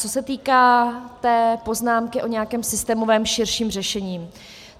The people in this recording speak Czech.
Co se týká té poznámky o nějakém systémovém širším řešení.